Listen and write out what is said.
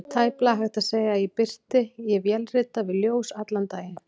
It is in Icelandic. Tæplega hægt að segja að birti: ég vélrita við ljós allan daginn.